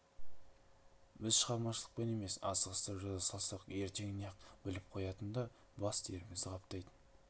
біз шығармашылықпен емес асығыстау жаза салсақ ертеңіне-ақ біліп қоятын да бас терімізді қаптайтын